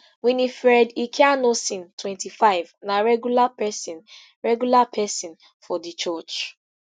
winnifred ikhianosin twenty-five na regular pesin regular pesin for di church